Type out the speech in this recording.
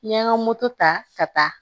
N ye n ka moto ta ka taa